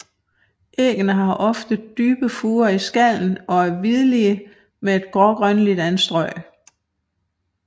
Æggene har ofte dybe furer i skallen og er hvidlige med grågrønligt anstrøg